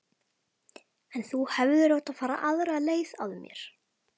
En þú hefðir átt að fara aðra leið að mér.